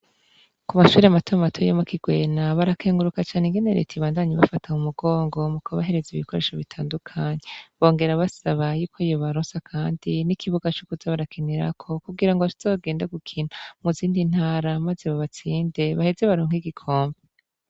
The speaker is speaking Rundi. Ku mashuri matama matu yomakigwena barakenguruka cane ingenereti ibandanyi bafatama umugongo mu ku bahereza ibikoresho bitandukanyi bongera basaba yuko yo barosa, kandi n'ikibuga c'ukuzabarakenirako kugira ngo ashizogende gukinta mu zindi ntara, maze babatsinde baheze baronka igikompe.